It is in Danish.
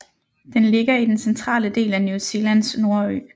Den ligger i den centrale del af New Zealands nordø